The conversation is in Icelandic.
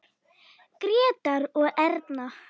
Grétar og Erna.